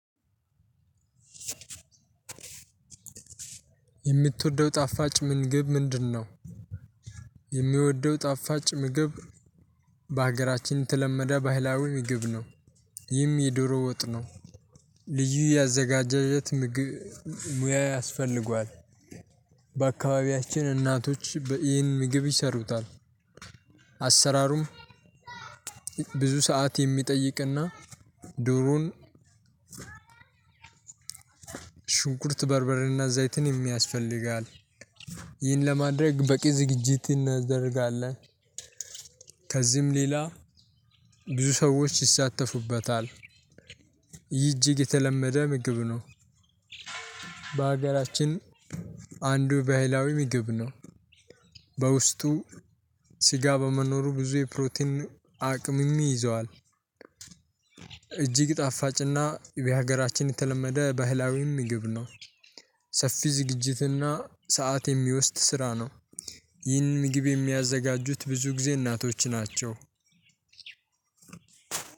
"የምትወደው ጣፋጭ ምግብ ምንድነው?" የምወደው ጣፋጭ ምግብ በሀገራችን የተለመደ ባህላዊ ምግብ ነው። ይህም የዶሮ ወጥ ነው። ልዩ የአዘጋጃጀት ምግብ ሙያ ያስፈልገዋል። በአካባቢያችን እናቶች በ ይህን ምግብ ይሰሩታል። አሰራሩም ብዙ ሰዓት የሚጠይቅና ዱሩን ሽንኩርት በርበሬና ዘይትንም ያስፈልጋል። ይህን ለማድረግ በቂ ዝግጅት እናደርጋለን። ከዚህም ሌላ ብዙ ሰዎች ይሳተፉበታል። ይህ እጅግ የተለመደ ምግብ ነው። በሀገራችን አንዱ ባህላዊ ምግብ ነው። በውስጡ ስጋ በመኖሩ ብዙ የፕሮቲን አቅምም ይዟል። እጅግ ጣፋጭና በሀገራችን የተለመደ ባህላዊ ምግብ ነው። ሰፊ ዝግጅትና ሰዓት የሚወስድ ስራ ነው። ይህንን ምግብ የሚያዘጋጁት ብዙ ጊዜ እናቶች ናቸው።